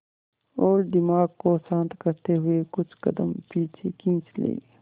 और दिमाग को शांत करते हुए कुछ कदम पीछे खींच लें